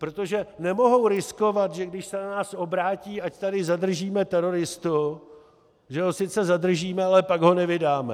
Protože nemohou riskovat, že když se na nás obrátí, ať tady zadržíme teroristu, že ho sice zadržíme, ale pak ho nevydáme!